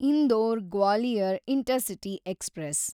Indore Gwalior intercity express